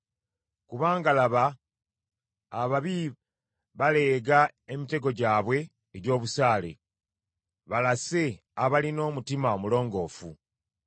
Kubanga laba ababi baleega emitego gyabwe egy’obusaale, balase abalina omutima omulongoofu.